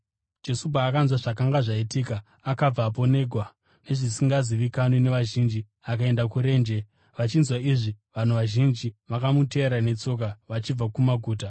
Jesu paakanzwa zvakanga zvaitika, akabvapo negwa zvisingazivikanwi nevazhinji akaenda kurenje. Vachinzwa izvi, vanhu vazhinji vakamutevera netsoka vachibva kumaguta.